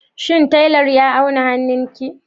Shin tailar ya auna hannunki?